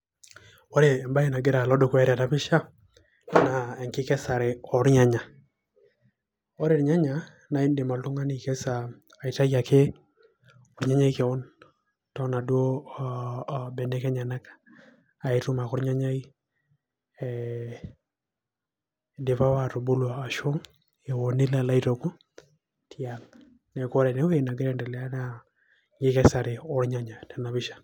Ore embae naloito dukuya tenapisha naa enkikesare ornyanya ,ore irnyanya naidim oltungani aikesa aishae ake ornyanyai kewon tonaduo o o benek enyenak ,naitum ake ornyanyai ee idipa ake atubulu ashu eo nilo alo aituku yeah neaku ore enagira aendelea naa enkikesare ornyanya tena pisha.